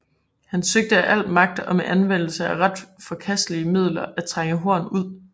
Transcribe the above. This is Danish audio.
Han søgte af al magt og med anvendelse af ret forkastelige midler at trænge Horn ud